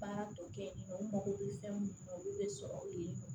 Baara dɔ kɛ u mago bɛ fɛn mun na olu bɛ sɔrɔ u ye